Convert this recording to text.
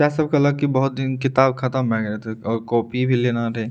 सब कहलक की बहुत दिन किताब ख़त्म हो गए रहले और कपय भी लेना रहे --